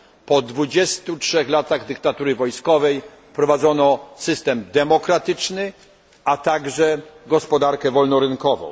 Po 23 latach dyktatury wojskowej wprowadzono system demokratyczny, a także gospodarkę wolnorynkową.